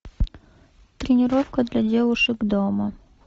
тренировка для девушек дома